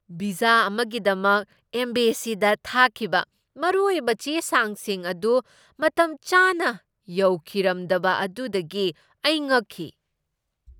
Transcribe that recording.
Visa ꯑꯃꯒꯤꯗꯃꯛ ꯑꯦꯝꯕꯦꯁꯤꯗ ꯊꯥꯈꯤꯕ ꯃꯔꯨꯑꯣꯏꯕ ꯆꯦ ꯆꯥꯡꯁꯤꯡ ꯑꯗꯨ ꯃꯇꯝꯆꯥꯅ ꯌꯧꯈꯤꯔꯝꯗꯕ ꯑꯗꯨꯗꯒꯤ ꯑꯩ ꯉꯛꯈꯤ꯫